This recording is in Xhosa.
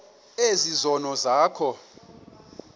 ezi zono zakho